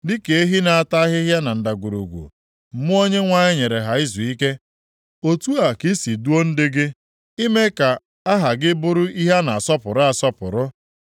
Dịka ehi na-ata ahịhịa na ndagwurugwu, Mmụọ Onyenwe anyị nyere ha izuike. Otu a ka i si duo ndị gị, ime ka aha gị bụrụ ihe a na-asọpụrụ asọpụrụ.